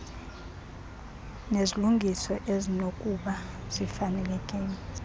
nezilungiso ezinokuba zifanelekile